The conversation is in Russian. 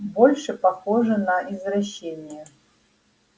больше похоже на извращение